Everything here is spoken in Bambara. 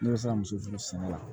Ne bɛ se ka muso furu sɛnɛ la